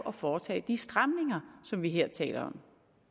at foretage de stramninger som vi her taler